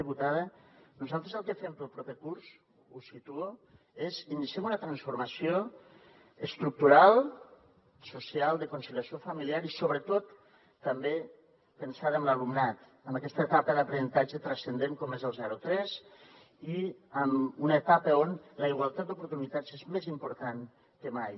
diputada nosaltres el que fem per al proper curs ho situo és que iniciem una transformació estructural social de conciliació familiar i sobretot també pensada en l’alumnat en aquesta etapa d’aprenentatge transcendent com és el zero a tres i en una etapa on la igualtat d’oportunitats és més important que mai